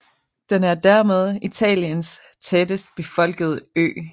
Den er dermed Italiens tættest befolkede ø